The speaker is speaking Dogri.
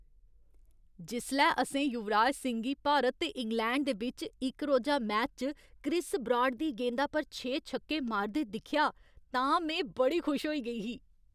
जिसलै असें युवराज सिंह गी भारत ते इंग्लैंड दे बिच्च इक रोजा मैच च क्रिस ब्राड दी गेंदा पर छे छक्के मारदे दिक्खेआ तां में बड़ी खुश होई गेई ही।